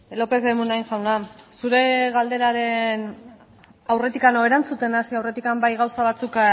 lopez de munain jauna zure galderaren erantzuten hasi aurretik bai gauza batzuk